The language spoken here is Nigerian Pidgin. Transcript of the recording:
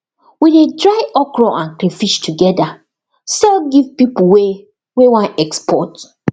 e dey dry okra and crayfish together sell give people wey wey wan export